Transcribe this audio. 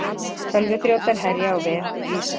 Tölvuþrjótar herja á vef Visa